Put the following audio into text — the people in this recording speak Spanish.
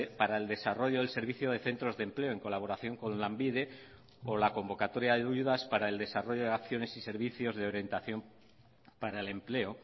para el desarrollo del servicio de centros de empleo en colaboración con lanbide o la convocatoria de ayudas para el desarrollo de acciones y servicios de orientación para el empleo